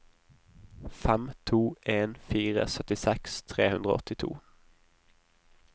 fem to en fire syttiseks tre hundre og åttito